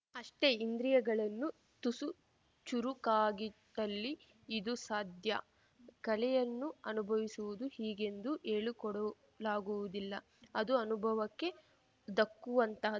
ಅಷ್ಟೆ ಇಂದ್ರಿಯಗಳನ್ನು ತುಸು ಚುರುಕಾಗಿಟ್ಟಲ್ಲಿ ಇದು ಸಾಧ್ಯ ಕಲೆಯನ್ನು ಅನುಭವಿಸುವುದು ಹೀಗೆಂದು ಹೇಳಿಕೊಡಲಾಗುವುದಿಲ್ಲ ಅದು ಅನುಭವಕ್ಕೆ ದಕ್ಕುವಂತ